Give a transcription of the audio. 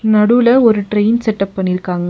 நடுல ஒரு train setup பண்ணிருக்காங்க.